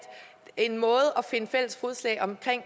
finde fælles fodslag omkring